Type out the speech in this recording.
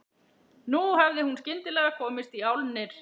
Nú hafði hún skyndilega komist í álnir.